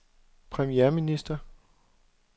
premierminister